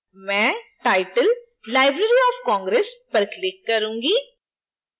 मैं title : library of congress पर click करूंगी